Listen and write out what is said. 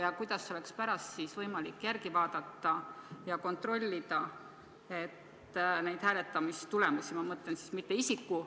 Ja kuidas on pärast võimalik neid hääletamistulemusi kontrollida?